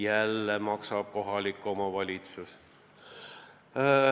Jälle maksab kohalik omavalitsus.